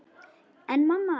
En mamma!